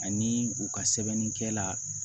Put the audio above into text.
Ani u ka sɛbɛnnikɛla